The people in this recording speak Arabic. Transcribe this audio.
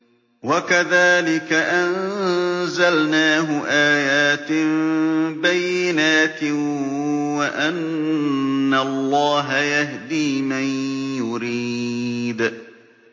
وَكَذَٰلِكَ أَنزَلْنَاهُ آيَاتٍ بَيِّنَاتٍ وَأَنَّ اللَّهَ يَهْدِي مَن يُرِيدُ